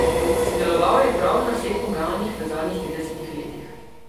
Sodeloval je prav na vseh pogajanjih v zadnjih tridesetih letih.